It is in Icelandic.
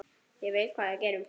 Ég veit hvað við gerum!